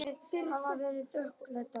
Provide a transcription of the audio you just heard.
Það lifnaði yfir Stjána.